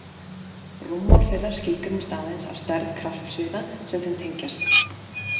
Rúmmál þeirra skilgreinist aðeins af stærð kraftsviða sem þeim tengjast.